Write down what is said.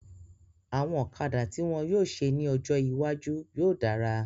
Àwọn ọ̀kadà tí wọ́n yóò ṣe ní ọjọ́ iwájú yóò dára